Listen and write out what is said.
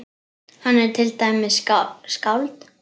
Hann er til dæmis skáld.